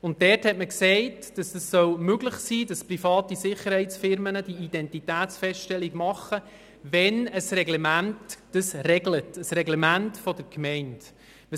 Dort sagte man, es solle möglich sein, dass private Sicherheitsfirmen Identitätsfeststellungen machen, wenn dies ein Reglement der Gemeinde regelt.